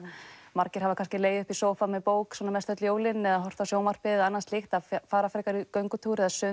margir hafa kannski legið uppi í sófa með bók mest öll jólin eða horfa á sjónvarpið og annað slíkt þá fara frekar í göngutúr eða sund